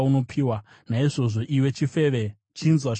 “ ‘Naizvozvo, iwe chifeve, chinzwa shoko raJehovha!